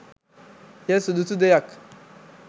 එය සුදුසු දෙයක්.